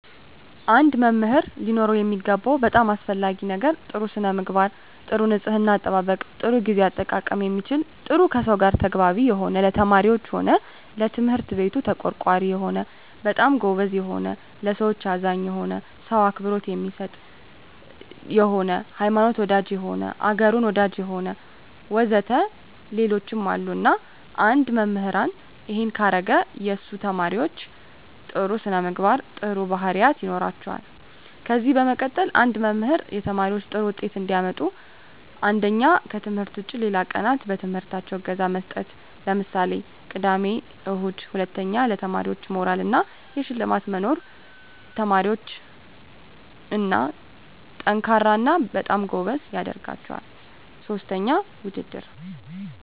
አንድ መምህር ሊኖረው የሚገባው በጣም አሰፈላጊ ነገር ጥሩ ስነምግባር ጥሩ ንጽሕና አጠባበቅ ጥሩ ግዜ አጠቃቀም የሚችል ጥሩ ከሰው ጋር ተግባቢ የሆነ ለተማሪዎች ሆነ ለትምህርት ቤቱ ተቆርቋሪ የሆነ በጣም ጎበዝ የሆነ ለሠዎች አዛኝ የሆነ ሰው አክብሮት የሚሰጥ የሆነ ሀይማኖት ወዳጅ የሆነ አገሩን ወዳጅ የሆነ ወዘተ ሌሎችም አሉ እና አንድ መምህራን እሄን ካረገ የሱ ተመራማሪዎች ጥሩ ስነምግባር ጥሩ ባህሪያት ይኖራቸዋል ከዚ በመቀጠል አንድ መምህር ተማሪዎች ጥሩ ውጤት እንዲያመጡ አንደኛ ከትምህርት ውጭ ሌላ ቀናት በትምህርታቸው እገዛ መስጠት ለምሳሌ ቅዳሜ እሁድ ሁለተኛ ለተማሪዎች የሞራል እና የሽልማት መኖር ተማሪዎች &ጠንካራ እና በጣም ጎበዝ ያደረጋቸዋል ሥስተኛ ውድድር